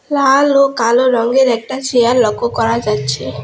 লাল ও কালো রংয়ের একটা চেয়ার লক্ষ্য করা যাচ্ছে।